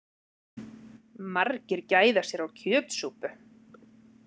Margir gæða sér á kjötsúpu